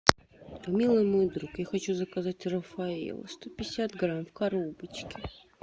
милый мой друг я хочу заказать рафаэлло сто пятьдесят грамм в коробочке